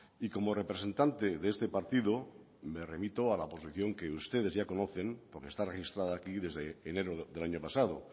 y como representante de este partido me remito a la posición que ustedes ya conocen porque está registrada aquí desde enero del año pasado